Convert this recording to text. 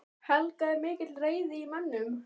Helga: Er mikil reiði í mönnum?